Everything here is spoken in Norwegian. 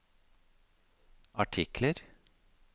artikler